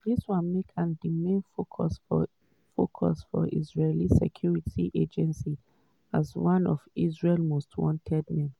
dis one make am di main focus for focus for israeli security agencies as one of israel most wanted men.